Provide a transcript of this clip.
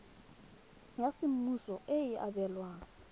ya semmuso e e abelwang